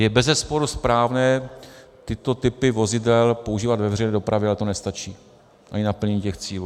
Je bezesporu správné tyto typy vozidel používat ve veřejné dopravě, ale to nestačí ani k naplnění těch cílů.